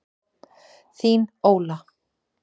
Þín, Óla.